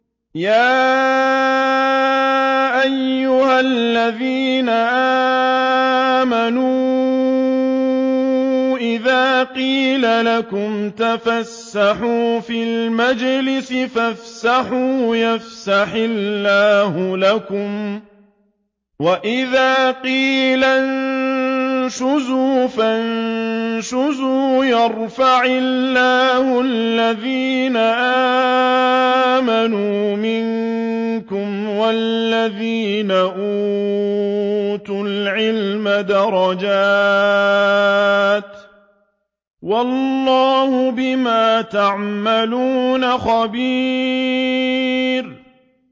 يَا أَيُّهَا الَّذِينَ آمَنُوا إِذَا قِيلَ لَكُمْ تَفَسَّحُوا فِي الْمَجَالِسِ فَافْسَحُوا يَفْسَحِ اللَّهُ لَكُمْ ۖ وَإِذَا قِيلَ انشُزُوا فَانشُزُوا يَرْفَعِ اللَّهُ الَّذِينَ آمَنُوا مِنكُمْ وَالَّذِينَ أُوتُوا الْعِلْمَ دَرَجَاتٍ ۚ وَاللَّهُ بِمَا تَعْمَلُونَ خَبِيرٌ